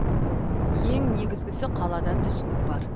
ең негізгісі қалада түсінік бар